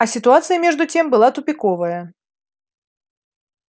а ситуация между тем была тупиковая